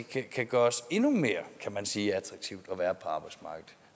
det kan gøres endnu mere kan man sige attraktivt